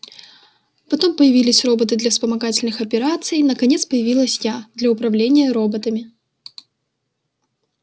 потом появились роботы для вспомогательных операций наконец появилась я для управления роботами